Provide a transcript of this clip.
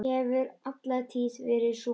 Hefur alla tíð verið svona.